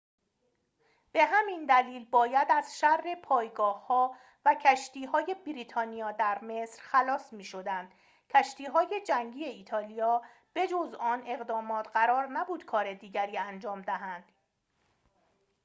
به همین دلیل باید از شر پایگاه‌ها و کشتی‌های بریتانیا در مصر خلاص می‌شدند کشتی‌های جنگی ایتالیا به‌جز آن اقدامات قرار نبود کار دیگری انجام دهند